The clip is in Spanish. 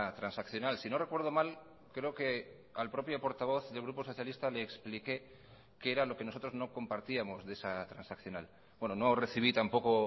transaccional si no recuerdo mal creo que al propio portavoz del grupo socialista le expliqué qué era lo que nosotros no compartíamos de esa transaccional bueno no recibí tampoco